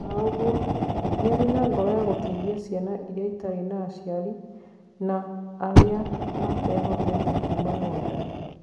Ona ũgwo, niari na ngoro ya gũteithia ciani iria citari na aciari na aria matehotete kuma Rwanda.